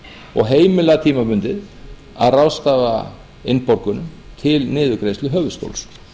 og heimila tímabundið að ráðstafa innborgunum til niðurgreiðslu höfuðstóls